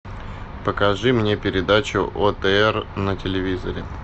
покажи мне передачу отр на телевизоре